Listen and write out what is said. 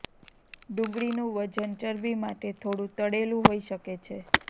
ડુંગળીનું વજન ચરબી માટે થોડું તળેલું હોઈ શકે છે